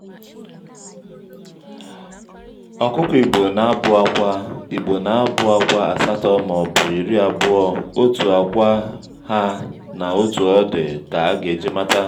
ọkụkọ igbo na-abù àkwà igbo na-abù àkwà asatọ mà ọbụ iri abụọ otu àkwà ha na otu ọdị ka-aga eji mata.